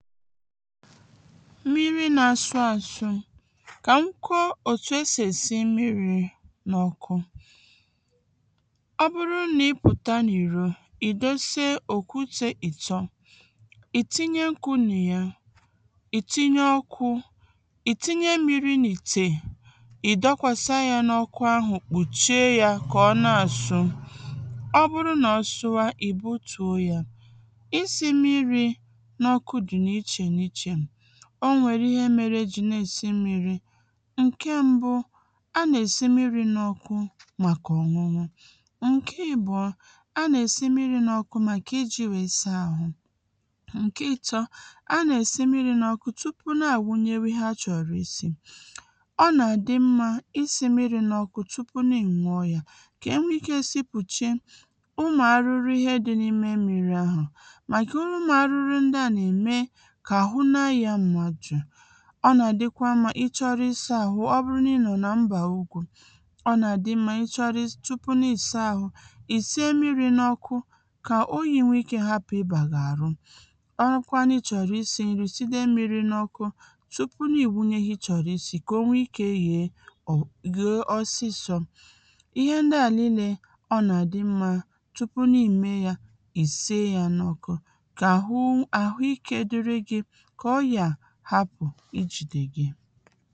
mmiri nā-āzụ̄ àzụ̀ kà m kwuo òtù esì èsi mmirī n’ọ̄kụ̄ ọ bụrụ nà ị pụ̀ta n’ìro, ị̀ dose òkutē ị̀tọ ị̀ tinye nkwụ̄ nà ya, ị̀ tinye ọkụ̄, ị̀ tinye mmīrī n’ìtè ị̀ dọkwàsa yā n’ọkụ ahụ̀ kpùchie yā kā ọ na-àsụ ọ bụrụ nà ọ sụwa ị̀ butùo yā isī m̄mīrì n’ọkụ dị̀ n’ichè n’ichè o nwèrè ihe mērē ejì na-èsi mmīrī ǹke m̄bụ̄ a nà-èsi mmirī n’ọ̄kụ̄ màkà ọ̀nụnụ ǹke èbụ̀ọ a nà-èsi mmirī n’ọ̄kụ̄ màkà ijī nwèe saa āhụ̄ ǹke ētọ̄ a nà-èsi mmiri ọkụ̄ n’ọ̄kụ̄ tupu na-ànwunyere ihe ha chọ̀rọ̀ isī ọ nà-àdị m̄mā isī mmirī n’ọkụ tupu nà ị ǹwụọ̄ yā kà enwe ikē sipùche ụmụ̄ arụrụ ihe dị̄ n’ime mmirī āhụ̀ màkà ụmụ̀ arụrụ ndị à nà-ème kà àhụ na-ayā mmadụ̀ ọ nà-àdịkwa m̄mā ị chọrọ ịsā àhụ ọ bụrụ nà ị nọ̀ nà mbà ugwū ọ nà dị m̄mā tupu ị chọrị nà ị saa āhụ̄, ị̀ sinye mmirī n’ọ̄kụ̄ kà oyī nwe ikē hapụ̀ ịbà gị̀ àrụ ọ wụrụkwa nà ị chọ̀rọ̀ isī n̄rī side mmirī n’ọ̄kụ̄ tupu ị̀ nwunye ihe ị chọ̀rọ̀ isī kà o nwe ikē yèe ọ̀ yèe ọsịsọ̄ ihe ndị à niīlē ọ nà-àdị m̄mā tupu nà ị meē yā ị̄ sinye yā n’ọ̄kụ̄ kà àhụ àhụ ikē dịrị gị̄ kà ọrịà hapụ̀ ijìdè gị